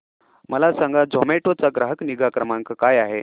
मला सांगा झोमॅटो चा ग्राहक निगा क्रमांक काय आहे